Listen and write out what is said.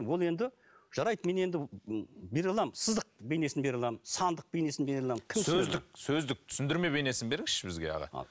ол енді жарайды мен енді бере аламын сызық бейнесін бере аламын сандық бейнесін бере аламын сөздік сөздік түсіндірме бейнесін беріңізші бізге аға